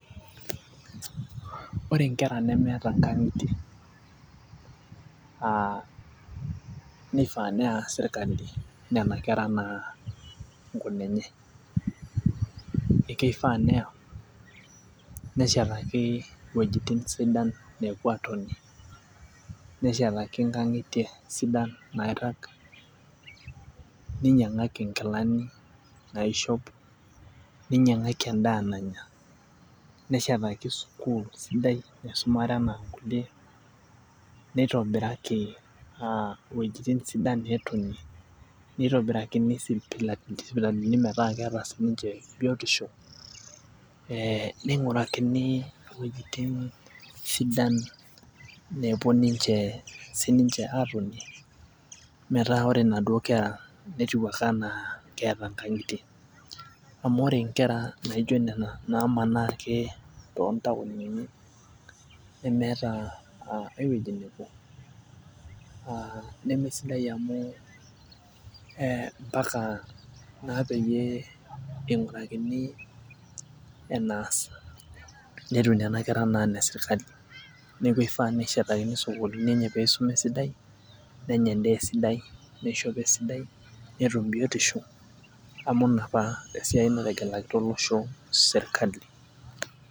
Ore inkera nemeeta inkang'itie uh neifaa neya sirkali enaa inkunenye ekeifaa neya neshetaki iwuejitin sidan nepuo atonie neshetaki inkang'itie sidan nairrag ninyiang'aki inkilani naishop ninyiang'aki endaa nanya neshetaki sukuul sidai naisumare enaa nkulie neitobiraki uh iwuejitin sidan netonie neitobirakini sipitalini metaa keeta sininche biotisho eh neing'urakini iwuejitin sidan nepuo ninche, sininche atonie metaa ore inaduo kera netiu ake enaa keeta inkang'itie amu ore inkera naijo nena namanaa ake tontaonini nemeeta uh aewueji nepuo naa nemesidai amu eh mpaka naa peyie eing'urakini enaas netiu nana kera enaa ine sirkali neku eifaa neshetakini isukulini enye peisuma esidai nenya endaa esidai neishopo esidai netum biotisho amu ina apa esiai nategelakita olosho sirkali.